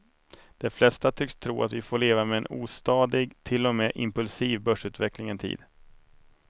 De flesta tycks tro att vi får leva med en ostadig, till och med impulsiv, börsutveckling en tid.